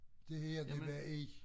Det her det var i